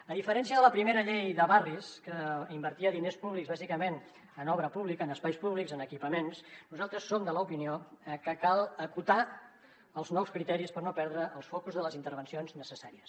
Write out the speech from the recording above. a diferència de la primera llei de barris que invertia diners públics bàsicament en obra pública en espais públics en equipaments nosaltres som de l’opinió que cal acotar els nous criteris per no perdre els focus de les intervencions necessàries